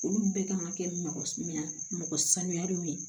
Olu bɛɛ kan ka kɛ mɔgɔ min mɔgɔ sanuya de ye